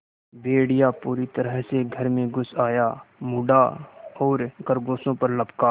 भेड़िया पूरी तरह से घर में घुस आया मुड़ा और खरगोशों पर लपका